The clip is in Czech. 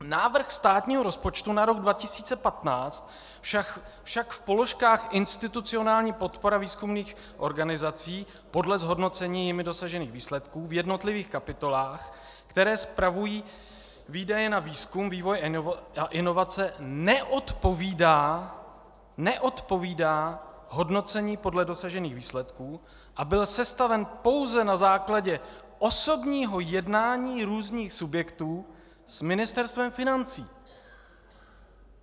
Návrh státního rozpočtu na rok 2015 však v položkách institucionální podpora výzkumných organizací podle zhodnocení jimi dosažených výsledků v jednotlivých kapitolách, které spravují výdaje na výzkum, vývoj a inovace, neodpovídá, neodpovídá hodnocení podle dosažených výsledků, a byl sestaven pouze na základě osobního jednání různých subjektů s Ministerstvem financí.